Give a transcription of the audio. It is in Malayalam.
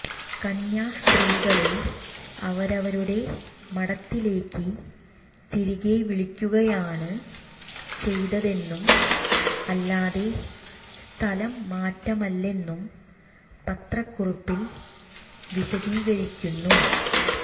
കന്യാസ്ത്രീകളെ അവരവരുടെ മഠത്തിലേക്ക് തിരികെ വിളിക്കുകയാണ് ചെയ്തതെന്നും അല്ലാതെ സ്ഥലംമാറ്റമല്ലെന്നും പത്രക്കുറിപ്പിൽ വിശദീകരിക്കുന്നു